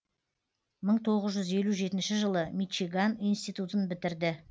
мың тоғыз жүз елу жетінші жылы мичиган институтын бітірді